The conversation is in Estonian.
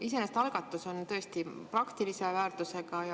Iseenesest on algatus tõesti praktilise väärtusega.